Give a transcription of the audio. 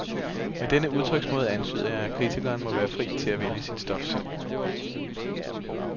Med denne udtryksmåde antyder jeg, at kritikeren må være fri til at vælge sit stof selv.